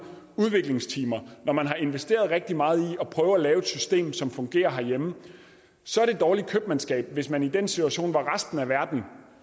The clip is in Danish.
udviklingstimer når man har investeret rigtig meget i at prøve at lave et system som fungerer herhjemme så er det dårligt købmandskab hvis man i den situation hvor resten af verden